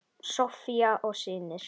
Soffía og synir.